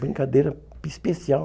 Brincadeira especial.